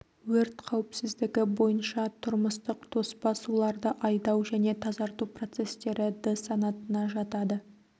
өрт қауіпсіздігі бойынша тұрмыстық тоспа суларды айдау және тазарту процестері д-санатына жатады